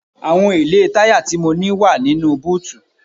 Àwọn èlé táyà tí mo ní wá nínú búùtì.